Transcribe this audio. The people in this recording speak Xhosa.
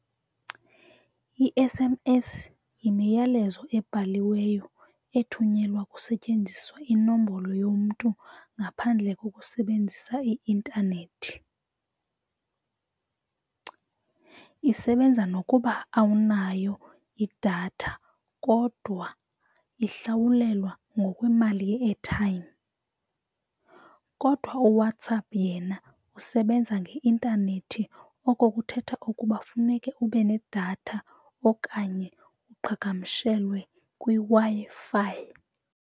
I-S_M_S yimiyalezo ebhaliweyo ethunyelwa kusetyenziswa inombolo yomntu ngaphandle kokusebenzisa i-intanethi. Isebenza nokuba awunayo idatha kodwa ihlawulelwa ngokwemali ye-airtime. Kodwa uWhatsApp yena usebenza ngeintanethi. Oko kuthetha ukuba funeke ube nedatha okanye uqhagamshelwe kwiWi-Fi.